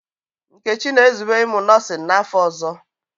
Nkechi na-ezube ịmụ nọọsịn n'afọ ọzọ.